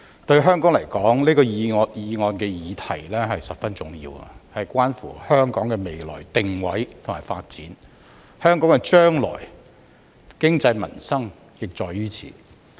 對香港來說，這項議案的議題十分重要，關乎香港的未來定位和發展，香港將來的經濟民生亦在於此。